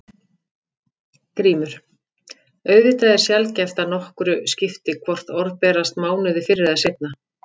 GRÍMUR: Auðvitað er sjaldgæft að nokkru skipti hvort orð berast mánuði fyrr eða seinna.